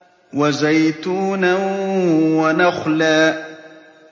وَزَيْتُونًا وَنَخْلًا